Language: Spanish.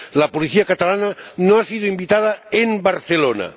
La policía catalana no ha sido invitada en Barcelona